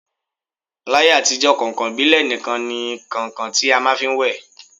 L'ayé àtijọ́, kàǹkàn ìbílẹ̀ nikan ni kàǹkàn ti a máà ń fi wẹ̀